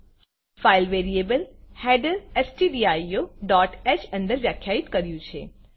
file variableફાઈલ variable header stdioહ અંદર વ્યાખ્યાયિત કર્યું છે